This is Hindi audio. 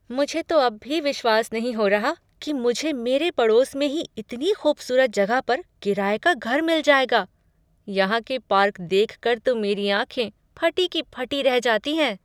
मुझे तो अब भी विश्वास नहीं हो रहा कि मुझे मेरे पड़ोस में ही इतनी ख़ूबसूरत जगह पर किराए का घर मिल जाएगा। यहाँ के पार्क देखकर तो मेरी ऑंखें फटी की फटी रह जाती हैं।